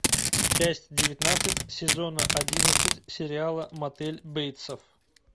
часть девятнадцать сезона одиннадцать сериала мотель бейтсов